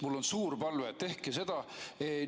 Mul on suur palve: tehke seda!